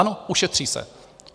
Ano, ušetří se.